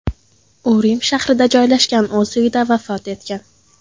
U Rim shahrida joylashgan o‘z uyida vafot etgan.